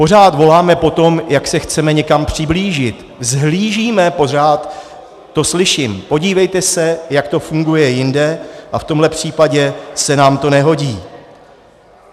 Pořád voláme po tom, jak se chceme někam přiblížit, vzhlížíme, pořád to slyším, podívejte se, jak to funguje jinde, a v tomhle případě se nám to nehodí.